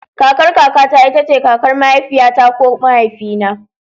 Kakar kaka ta ita ce kakar mahaifiyata ko mahaifina.